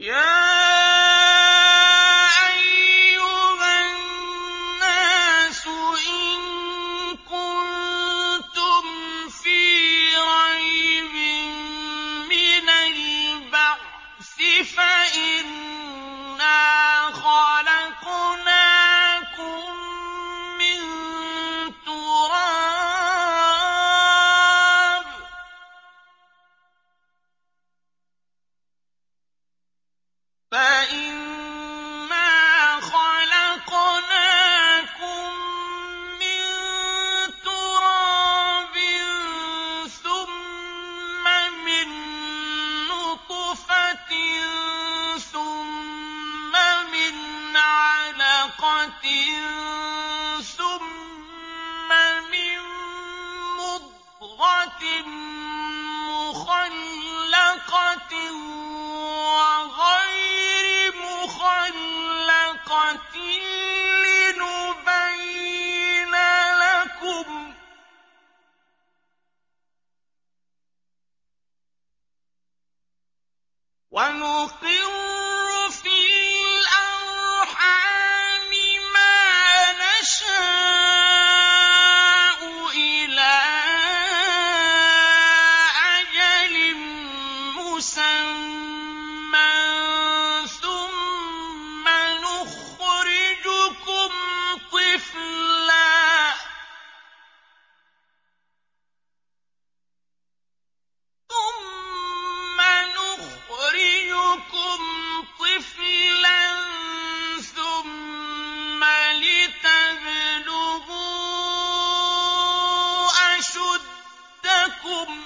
يَا أَيُّهَا النَّاسُ إِن كُنتُمْ فِي رَيْبٍ مِّنَ الْبَعْثِ فَإِنَّا خَلَقْنَاكُم مِّن تُرَابٍ ثُمَّ مِن نُّطْفَةٍ ثُمَّ مِنْ عَلَقَةٍ ثُمَّ مِن مُّضْغَةٍ مُّخَلَّقَةٍ وَغَيْرِ مُخَلَّقَةٍ لِّنُبَيِّنَ لَكُمْ ۚ وَنُقِرُّ فِي الْأَرْحَامِ مَا نَشَاءُ إِلَىٰ أَجَلٍ مُّسَمًّى ثُمَّ نُخْرِجُكُمْ طِفْلًا ثُمَّ لِتَبْلُغُوا أَشُدَّكُمْ ۖ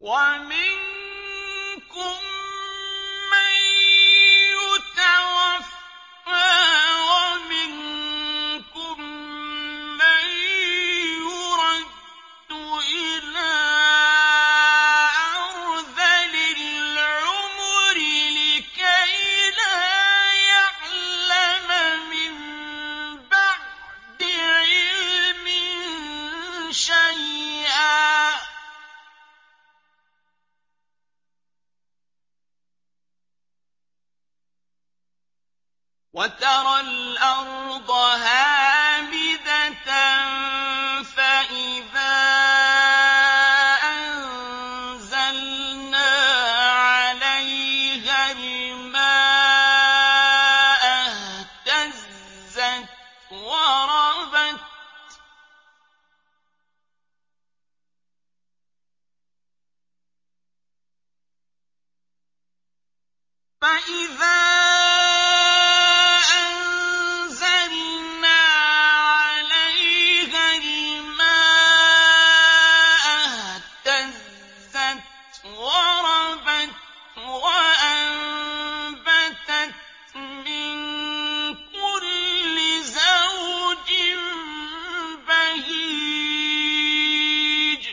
وَمِنكُم مَّن يُتَوَفَّىٰ وَمِنكُم مَّن يُرَدُّ إِلَىٰ أَرْذَلِ الْعُمُرِ لِكَيْلَا يَعْلَمَ مِن بَعْدِ عِلْمٍ شَيْئًا ۚ وَتَرَى الْأَرْضَ هَامِدَةً فَإِذَا أَنزَلْنَا عَلَيْهَا الْمَاءَ اهْتَزَّتْ وَرَبَتْ وَأَنبَتَتْ مِن كُلِّ زَوْجٍ بَهِيجٍ